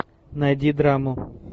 найди драму